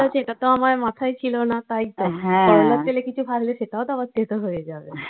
এটা তো আমার মাথায় ছিল না তাই তো। হ্যাঁ। করলার তেলে অন্য কিছু ভাজলে সেটাও তো আবার তেতো হয়ে যাবে।